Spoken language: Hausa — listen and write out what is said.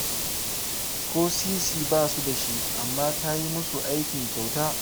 Ko sisi ba su da shi, amma ta yi musu aikin kyauta